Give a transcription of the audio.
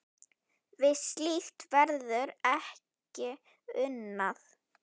Við slíkt verður ekki unað.